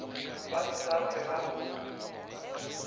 ba se sa hlwe ba